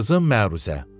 Qızın məruzə.